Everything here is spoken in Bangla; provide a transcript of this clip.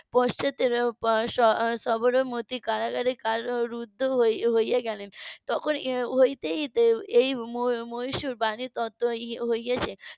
পশ্চাতে সবরমতি কারাগারে কারারুদ্ধ হয়ে গেলেন তখন হতে . হয়েছে